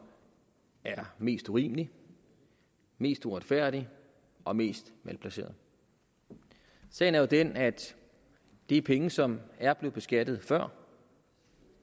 er mest urimelig mest uretfærdig og mest malplaceret sagen er jo den at det er penge som er blevet beskattet før